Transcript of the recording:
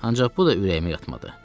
Ancaq bu da ürəyimə yatmadı.